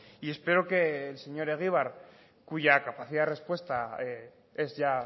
y espero que el señor egibar cuya capacidad de respuesta es ya